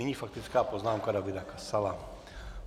Nyní faktická poznámka Davida Kasala.